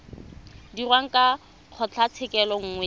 dirwang ke kgotlatshekelo nngwe le